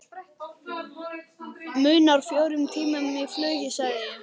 Munar fjórum tímum í flugi sagði ég.